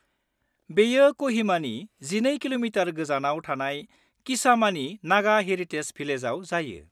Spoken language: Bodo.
बेयो क'हिमानि 12 कि.मि. गोजानाव थानाय किसामानि नागा हेरिटेज भिलेजाव जायो।